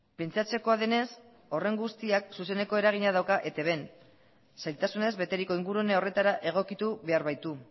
pentsatzekoa denez horren guztiak zuzeneko eragina dauka etbn zailtasunez beteriko ingurune horretara egokitu behar baitu